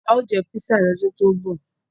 A ó jẹ písà lọ́dún tó ń bọ̀.